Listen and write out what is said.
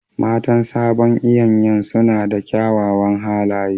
Matan sabon iyanyan suna da kyawawan halaye